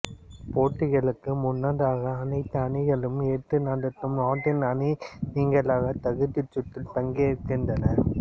போட்டிகளுக்கு முன்னதாக அனைத்து அணிகளும் ஏற்று நடத்தும் நாட்டின் அணி நீங்கலாக தகுதிச் சுற்றில் பங்கேற்கின்றன